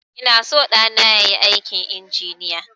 Ina son ɗana yayi aikin injiniya